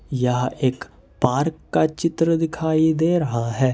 यह एक पार्क का चित्र दिखाई दे रहा है।